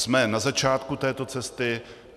Jsme na začátku této cesty.